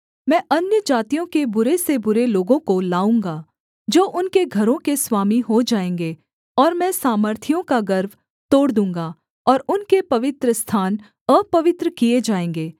मैं अन्यजातियों के बुरे से बुरे लोगों को लाऊँगा जो उनके घरों के स्वामी हो जाएँगे और मैं सामर्थियों का गर्व तोड़ दूँगा और उनके पवित्रस्थान अपवित्र किए जाएँगे